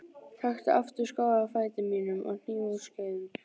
Taktu aftur skó af fæti mínum og hníf úr skeiðum.